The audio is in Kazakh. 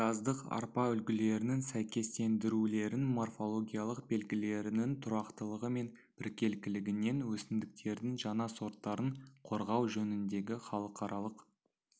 жаздық арпа үлгілерінің сәйкестендірулерін морфологиялық белгілерінің тұрақтылығы мен біркелкілігінен өсімдіктердің жаңа сорттарын қорғау жөніндегі халықаралық